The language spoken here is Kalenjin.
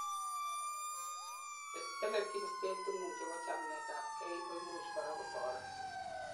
chetelelchin state's ingung chebo chamet ab gei koimuch korak kotoret